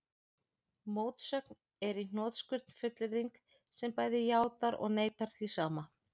Mótsögn er í hnotskurn fullyrðing sem bæði játar og neitar því sama.